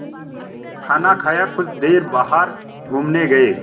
खाना खाया कुछ देर बाहर घूमने गए